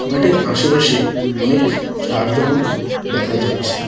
মাঠের আশেপাশে অনেক ঝাড় জঙ্গল দেখা যাচ্ছে।